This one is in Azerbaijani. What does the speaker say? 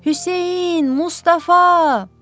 Hüseyn, Mustafa!